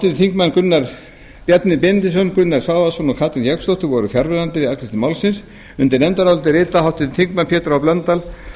háttvirtir þingmenn bjarni benediktsson gunnar svavarsson og katrín jakobsdóttir voru fjarverandi við afgreiðslu málsins undir nefndarálitið rita háttvirtir þingmenn pétur h blöndal